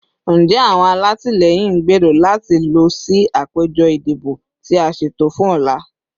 Njẹ awọn alatilẹyin n gbero lati lọ si apejọ idibo ti a ṣeto fun ọla?